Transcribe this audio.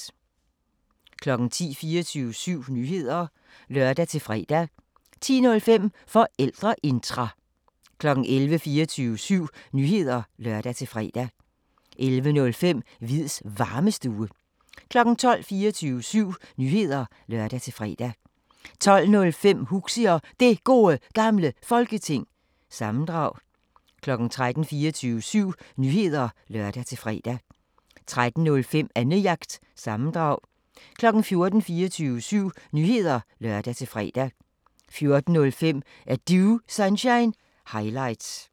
10:00: 24syv Nyheder (lør-fre) 10:05: Forældreintra 11:00: 24syv Nyheder (lør-fre) 11:05: Hviids Varmestue 12:00: 24syv Nyheder (lør-fre) 12:05: Huxi Og Det Gode Gamle Folketing- sammendrag 13:00: 24syv Nyheder (lør-fre) 13:05: Annejagt – sammendrag 14:00: 24syv Nyheder (lør-fre) 14:05: Er Du Sunshine – highlights